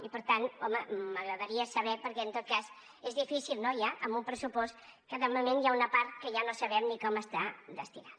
i per tant home m’agradaria saber ho perquè en tot cas és difícil no ja amb un pressupost en què de moment hi ha una part que ja no sabem ni a què està destinada